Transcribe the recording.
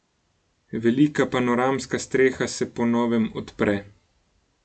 Velika panoramska streha se po novem odpre ...